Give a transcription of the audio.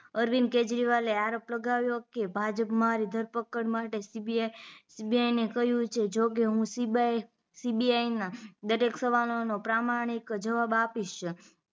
અરવિંદ કેજરીવાલએ આરોપ લગાવ્યો હતો કે ભાજ્પ મારી ધરપકડ માટે CBI ને કહ્યું છે જો કે હ CBI ના દરેક સવાલો નો પ્રામાણીક જવાબ આપીશ